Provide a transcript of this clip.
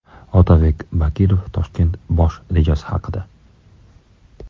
Otabek Bakirov Toshkent bosh rejasi haqida.